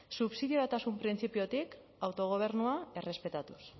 subsidiariotasun printzipiotik autogobernua errespetatuz